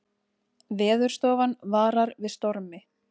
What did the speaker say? Veðurstofan varar við stormi